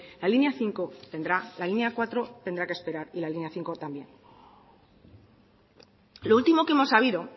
la línea cuatro tendrá que esperar y la línea cinco también lo último que hemos sabido